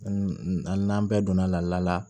n'an bɛɛ donna laada la